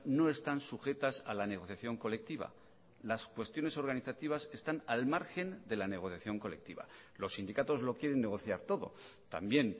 no están sujetas a la negociación colectiva las cuestiones organizativas están al margen de la negociación colectiva los sindicatos lo quieren negociar todo también